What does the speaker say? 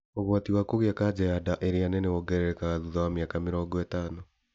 ũgwati wa kũgĩa kanja ya nda ĩrĩa nene wongererekaga thutha wa mĩaka mĩrongo ĩtano